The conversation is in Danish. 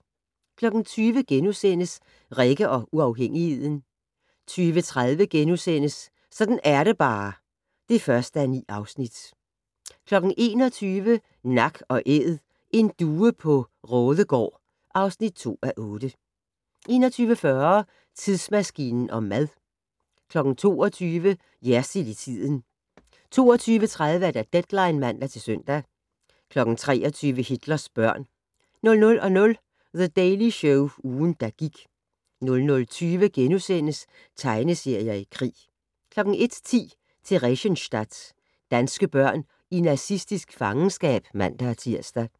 20:00: Rikke og uafhængigheden * 20:30: Sådan er det bare (1:9)* 21:00: Nak & Æd - en due på Raadegaard (2:8) 21:40: Tidsmaskinen om mad 22:00: Jersild i tiden 22:30: Deadline (man-søn) 23:00: Hitlers børn 00:00: The Daily Show - ugen, der gik 00:20: Tegneserier i krig * 01:10: Theresienstadt - danske børn i nazistisk fangenskab (man-tir)